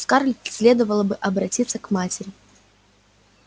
скарлетт следовало бы обратиться к матери